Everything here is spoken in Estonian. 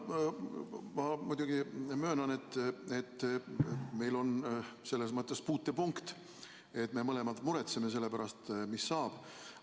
Jah, ma muidugi möönan, et meil on selles mõttes puutepunkt, et me mõlemad muretseme selle pärast, mis saab.